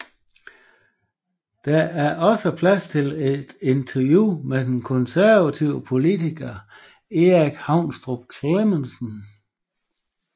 Der er dog også plads til et interview med den konservative politiker Erik Haunstrup Clemmensen